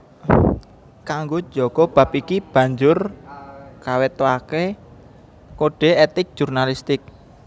Kanggo njaga bab iki banjur kawetoaké kode etik jurnalistik